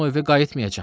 Mən o evə qayıtmayacam.